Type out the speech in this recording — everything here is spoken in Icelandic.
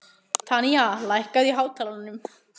Tanya, lækkaðu í hátalaranum.